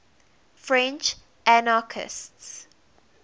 french anarchists